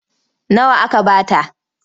Nawa aka ba ta?